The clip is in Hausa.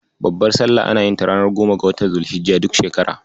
Babbar Salla ana yin ta ranar goma ga watan Zul-hijja, duk shekara.